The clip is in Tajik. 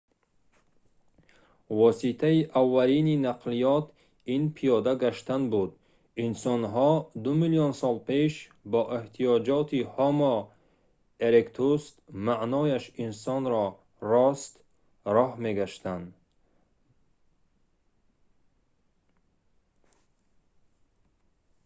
воситаи аввалини нақлиёт ин пиёда гаштан буд инсонҳо ду миллион сол пеш бо эҳтиёҷоти ҳомо еректус маънояш инсони рост роҳ мегаштанд